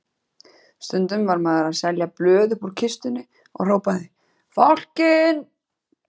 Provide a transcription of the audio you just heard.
Stundum var maður að selja blöð uppúr kistunni og hrópaði Fálkinn!